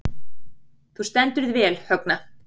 Þú stendur þig vel, Högna!